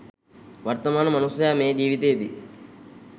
වර්තමාන මනුස්සයා මේ ජීවිතයේදී